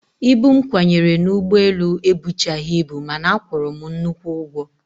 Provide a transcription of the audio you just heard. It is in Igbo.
Ibu m kwanyere n'ụgbọelu ebuchaghị ibu mana a kwụrụ m nnukwu ụgwọ